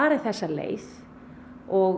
og tel að